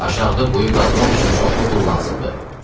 Aşağıda quyu qazmaq üçün çoxlu pul lazımdır."